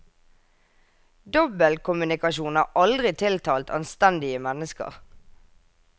Dobbeltkommunikasjon har aldri tiltalt anstendige mennesker.